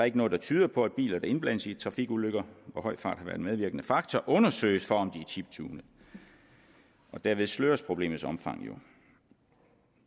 ikke noget der tyder på at biler der indblandes i trafikulykker hvor høj fart har været en medvirkende faktor undersøges for om er chiptunede og derved sløres problemets omfang jo